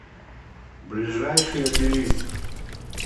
ближайший обелиск